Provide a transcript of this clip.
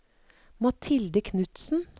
Mathilde Knudsen